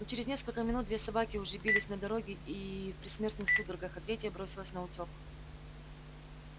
но через несколько минут две собаки уже бились на дороге и в предсмертных судорогах а третья бросилась наутёк